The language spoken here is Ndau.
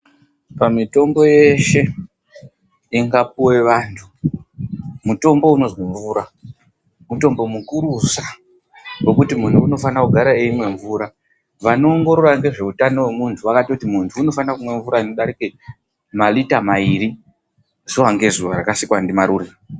Pamitombo yeshe ingapuwe vantu mutombo unozwi mvura mutombo mukurusa ngokuti muntu unofanira kugara eimwa mvura. Vanoongorora ngezveutano wemuntu vakatoti muntu unofanira kumwa mvura unodarike marita mairi zuwa ngezuwa rakaikwa ndiMarure.